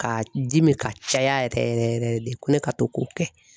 Ka jimi ka caya yɛrɛ yɛrɛ yɛrɛ yɛrɛ de ko ne ka to k'o kɛ.